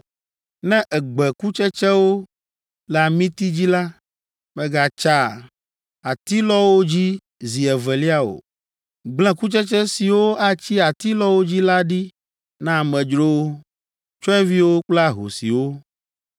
Ne ègbe kutsetsewo le amiti dzi la, mègatsa atilɔawo dzi zi evelia o. Gblẽ kutsetse siwo atsi atilɔawo dzi la ɖi na amedzrowo, tsyɔ̃eviwo kple ahosiwo.